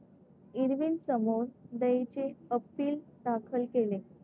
इर्विनसमोर दयेचे अपील दाखल केले.